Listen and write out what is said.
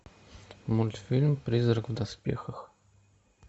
мультфильм призрак в доспехах